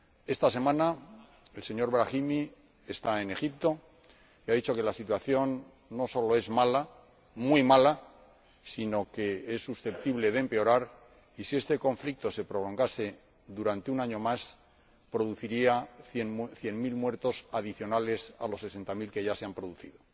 Esta semana, el señor Brahimi está en Egipto y ha dicho que la situación no solo es mala, muy mala, sino que es susceptible de empeorar y, si este conflicto se prolongase durante un año más, produciría cien mil muertos adicionales a los sesenta mil que ya se han producido.